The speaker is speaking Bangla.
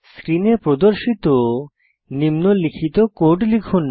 স্ক্রিনে প্রদর্শিত নিম্নলিখিত কোড লিখুন